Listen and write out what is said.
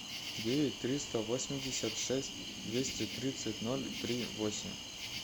девять триста восемьдесят шесть двести тридцать ноль три восемь